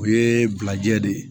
O ye bilajɛ de ye